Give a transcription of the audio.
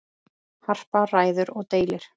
Harpa ræður og dælir.